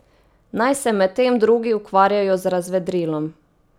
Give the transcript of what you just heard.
Naj se medtem drugi ukvarjajo z razvedrilom.